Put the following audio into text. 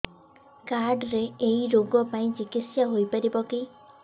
card ରେ ଏଇ ରୋଗ ପାଇଁ ଚିକିତ୍ସା ହେଇପାରିବ କି